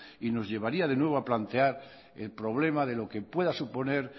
y nos llevaría de nuevo a plantear el problema de lo que pueda suponer